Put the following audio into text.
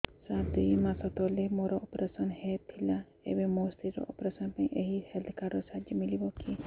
ସାର ଦୁଇ ମାସ ତଳରେ ମୋର ଅପେରସନ ହୈ ଥିଲା ଏବେ ମୋ ସ୍ତ୍ରୀ ର ଅପେରସନ ପାଇଁ ଏହି ହେଲ୍ଥ କାର୍ଡ ର ସାହାଯ୍ୟ ମିଳିବ କି